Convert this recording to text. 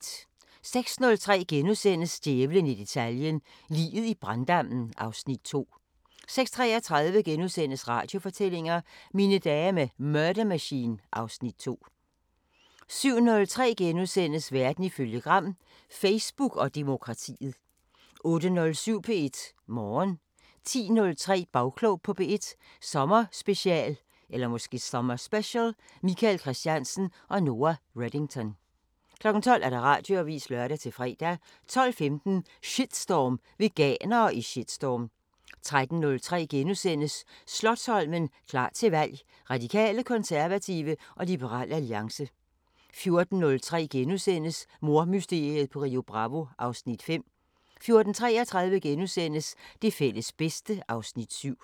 06:03: Djævlen i detaljen – Liget i branddammen (Afs. 2)* 06:33: Radiofortællinger: Mine dage med Murder Machine (Afs. 2)* 07:03: Verden ifølge Gram: Facebook og demokratiet * 08:07: P1 Morgen 10:03: Bagklog på P1 Sommerspecial: Michael Kristiansen og Noa Redington 12:00: Radioavisen (lør-fre) 12:15: Shitstorm: Veganere i shitstorm 13:03: Slotsholmen – klar til valg: Radikale, konservative og Liberal Alliance * 14:03: Mordmysteriet på Rio Bravo (Afs. 5)* 14:33: Det fælles bedste (Afs. 7)*